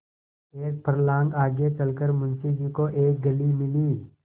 एक फर्लांग आगे चल कर मुंशी जी को एक गली मिली